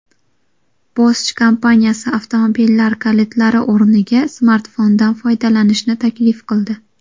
Bosch kompaniyasi avtomobillar kalitlari o‘rniga smartfondan foydalanishni taklif qildi.